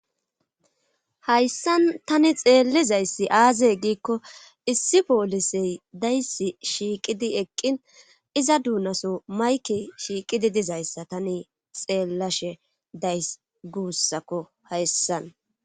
Hayssan tani xeellizayssi aazey giikko issi poolisey daysi shiiqidi eqqin iza duunaso mayke shiiqidi dizayssa tani xeellashe days guussakko hayssan.